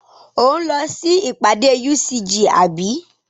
Ò ń lọ sí ìpàdé UCJ àbí?